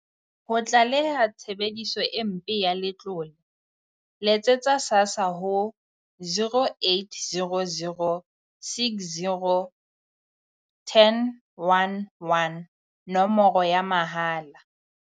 Ho tlaleha tshebediso e mpe ya letlole, letsetsa SASSA ho 0800 60 10 11, nomoro ya mahala.